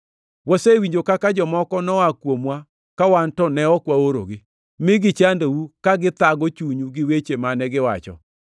Wasewinjo kaka jomoko noa kuomwa ka wan to ne ok waorogi, mi gichandou ka githago chunyu gi weche mane giwacho.